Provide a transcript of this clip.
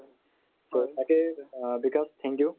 so তাকেই অ Bikash thank you